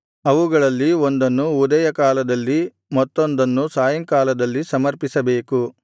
ಅವುಗಳಲ್ಲಿ ಒಂದನ್ನು ಉದಯಕಾಲದಲ್ಲಿ ಮತ್ತೊಂದನ್ನು ಸಾಯಂಕಾಲದಲ್ಲಿ ಸಮರ್ಪಿಸಬೇಕು